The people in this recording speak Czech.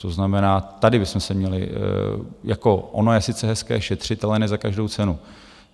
To znamená, tady bychom se měli jako - ono je sice hezké šetřit, ale ne za každou cenu.